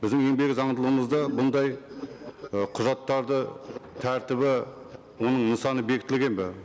біздің еңбек заңдылығымызда бұндай і құжаттарды тәртібі оның нысаны бекітілген бе